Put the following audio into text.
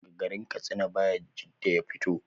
Daga garin katsina bayajidda ya fito